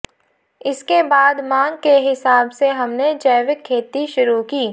इसके बाद मांग के हिसाब से हमने जैविक खेती शुरू की